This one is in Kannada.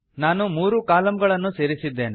ನಾನು ಮೂರು ಕಾಲಂಗಳನ್ನು ಸೇರಿಸಿದ್ದೇನೆ